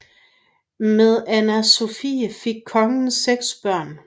Med Anna Sophie fik kongen seks børn